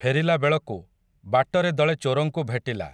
ଫେରିଲାବେଳକୁ, ବାଟରେ ଦଳେ ଚୋରଙ୍କୁ ଭେଟିଲା ।